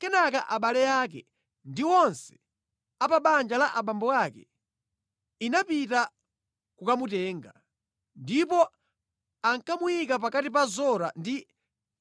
Kenaka abale ake ndi onse a pa banja la abambo ake anapita kukamutenga. Ndipo anakamuyika pakati pa Zora ndi